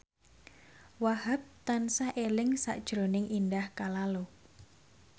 Wahhab tansah eling sakjroning Indah Kalalo